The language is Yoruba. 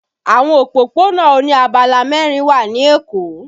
Àwọn òpópónà oní abala mẹrin wà ní Èkó